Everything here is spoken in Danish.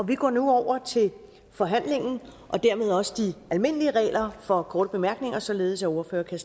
vi går nu over til forhandlingen og dermed også de almindelige regler for korte bemærkninger således at ordførere kan